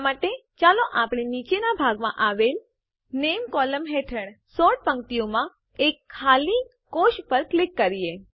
આ માટે ચાલો આપણે નીચેનાં ભાગમાં આવેલ નામે કોલમ હેઠળ સોર્ટ પંક્તિઓમાં એક ખાલી સેલ કોષ પર ક્લિક કરીએ